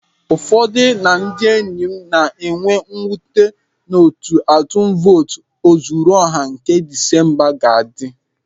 Ụfọdụ na ndị enyi m ga-enwe mwute n'etu atum votu ozuruọha nke Disemba ga-adị.